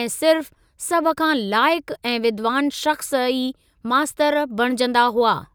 ऐं सिर्फ़ सभ खां लाइकु ऐं विद्वान शख़्स ई मास्तर बणिजंदा हुआ।